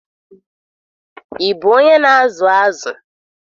Ị bụ onye na-azụ zụ?